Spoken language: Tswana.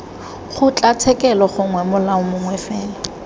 kgotlatshekelo gongwe molao mongwe fela